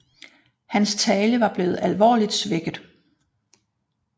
Hans tale var blevet alvorligt svækket